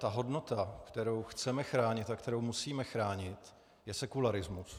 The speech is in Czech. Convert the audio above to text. Ta hodnota, kterou chceme chránit a kterou musíme chránit, je sekularismus.